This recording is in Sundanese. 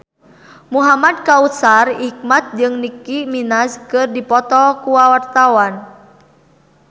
Muhamad Kautsar Hikmat jeung Nicky Minaj keur dipoto ku wartawan